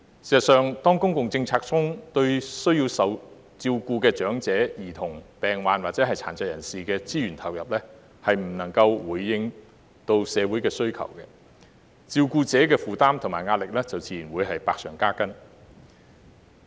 事實上，當公共政策中對需受照顧的長者、兒童、病患或殘疾人士的資源投入未能回應社會的需求，照顧者的負擔和壓力就自然百上加斤。